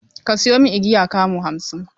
Ka sayo min igiya kamu hamsin!